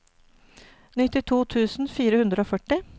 nittito tusen fire hundre og førti